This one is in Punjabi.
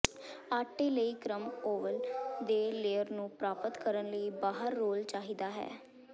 ਆਟੇ ਲਈ ਕ੍ਰਮ ਓਵਲ ਦੇ ਲੇਅਰ ਨੂੰ ਪ੍ਰਾਪਤ ਕਰਨ ਲਈ ਬਾਹਰ ਰੋਲ ਚਾਹੀਦਾ ਹੈ